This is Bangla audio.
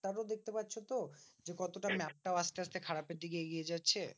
তারপর দেখতে পারছো তো? যে কতটা map টাও আসতে আসতে খারাপের দিকে এগিয়ে যাচ্ছে?